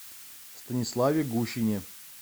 станиславе гущине